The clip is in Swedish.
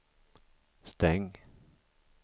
stäng